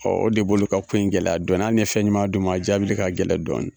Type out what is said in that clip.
Ɔ o de b'olu ka ko in gɛlɛya dɔɔni ali n'i ye fɛnɲuman d'u ma a jaabili ka gɛlɛn dɔɔnnin